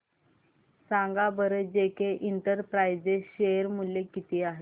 सांगा बरं JK enterprises share मूल्य किती आहे